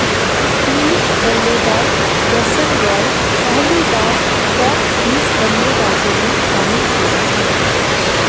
English बल्लेबाज Jason Roy पहली बार टॉप बीस बल्लेबाजों में शामिल हुए हैं